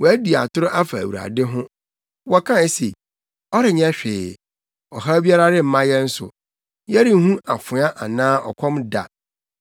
Wɔadi atoro afa Awurade ho, wɔkae se, “Ɔrenyɛ hwee! Ɔhaw biara remma yɛn so; yɛrenhu afoa anaa ɔkɔm da.